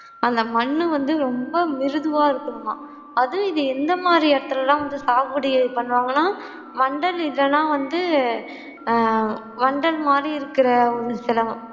அந்த மண்ணு வந்து ரொம்ப மிருதுவா இருக்கணுமாம் அது இந்த மாதி இடத்துளெல்லாம் வந்து பண்ணுவாங்கலாம் வந்தல் இல்லேனா வந்து வந்தல் மாதி இருக்கிற